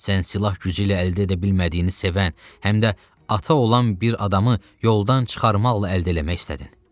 Sən silah gücü ilə əldə edə bilmədiyini sevən, həm də ata olan bir adamı yoldan çıxarmaqla əldə eləmək istədin.